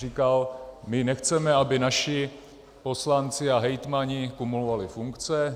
Říkal: my nechceme, aby naši poslanci a hejtmani kumulovali funkce.